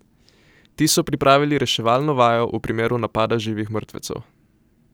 Ti so pripravili reševalno vajo v primeru napada živih mrtvecev.